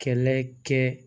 Kɛlɛ kɛ